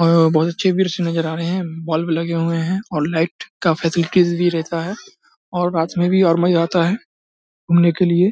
और बहुत अच्छी व्यू नजर आ रहे है बल्ब लगे हुए है और लाइट का फैसिलिटीज भी रहता है और रात में और मज़ा आता है घूमने के लिए।